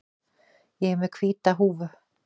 Ég er með hvíta húfu.